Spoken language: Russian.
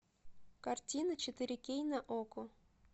картина четыре кей на окко